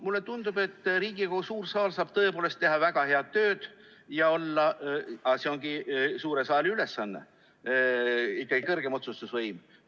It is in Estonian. Mulle tundub, et Riigikogu suur saal saab tõepoolest teha väga head tööd, aga see ongi suure saali ülesanne, ikkagi kõrgem otsustusvõim.